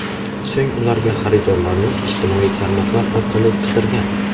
So‘ng ularga xaridorlarni ijtimoiy tarmoqlar orqali qidirgan.